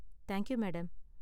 thank you, madam